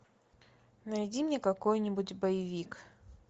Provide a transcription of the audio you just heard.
найди мне какой нибудь боевик